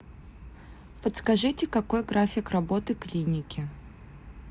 подскажите какой график работы клиники